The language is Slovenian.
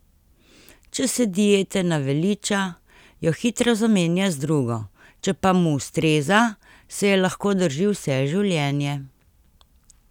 Če se diete naveliča, jo hitro zamenja z drugo, če pa mu ustreza, se je lahko drži vse življenje.